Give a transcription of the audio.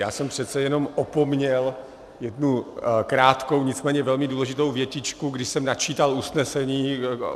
Já jsem přece jenom opomněl jednu krátkou, nicméně velmi důležitou větičku, když jsem načítal usnesení.